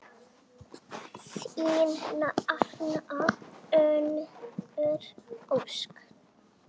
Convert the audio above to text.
Þín nafna, Unnur Ósk.